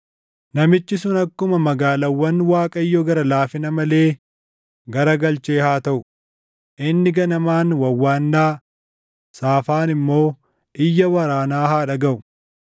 Namichi sun akkuma magaalaawwan Waaqayyo gara laafina malee garagalchee haa taʼu. Inni ganamaan wawwaannaa, saafaan immoo iyya waraanaa haa dhagaʼu.